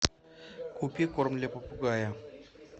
купи корм для попугая